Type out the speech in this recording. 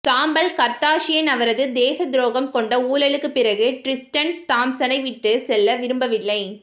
சாம்பல் கர்தாஷியன் அவரது தேசத்துரோகம் கொண்ட ஊழலுக்கு பிறகு டிரிஸ்டன் தாம்சனை விட்டு செல்ல விரும்பவில்லை